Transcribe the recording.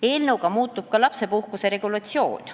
Eelnõuga muutub ka lapsepuhkuse regulatsioon.